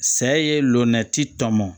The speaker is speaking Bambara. Sa ye lomɛti tɔ mɔ